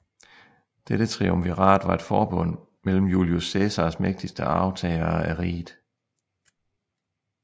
Dette triumvirat var et forbund mellem Julius Cæsars mægtigste arvtagere af riget